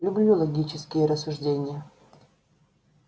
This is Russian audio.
люблю логические рассуждения